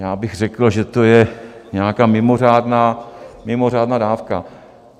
Já bych řekl, že to je nějaká mimořádná dávka.